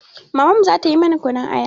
Mamanmu za ta yi mana kunun aya.